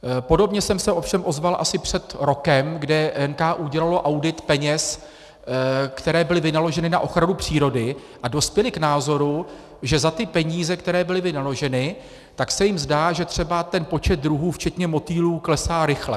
Podobně jsem se ovšem ozval asi před rokem, kdy NKÚ dělalo audit peněz, které byly vynaloženy na ochranu přírody, a dospěli k názoru, že za ty peníze, které byly vynaloženy, tak se jim zdá, že třeba ten počet druhů včetně motýlů klesá rychle.